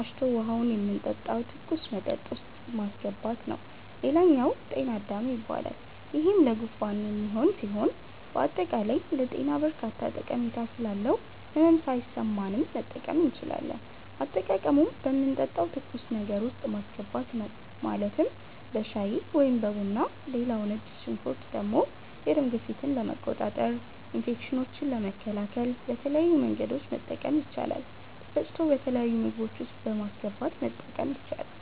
አሽቶ ውሀውን የምንጠጣው ትኩስ መጠጥ ውስጥ ማሥገባት ነዉ ሌላኛው ጤና -አዳም ይባላል ይሄም ለጉንፋን የሚሆን ሢሆን በአጠቃላይ ለጤና በርካታ ጠሜታ ስላለው ህመም ሣይሠማንም መጠቀም እንችላለን። አጠቃቀሙም በምንጠጣው ትኩስ ነገር ውስጥ ማስገባት ነው ማለትም በሻይ(በቡና ) ሌላው ነጭ ሽንኩርት የደም ግፊትን ለመቆጣጠር፣ ኢንፌክሽኖችን ለመከላከል በተለያዩ መንገዶች መጠቀም ይቻላል ተፈጭቶ በተለያዩ ምግቦች ውስጥ በማስገባት መጠቀም ይቻላል።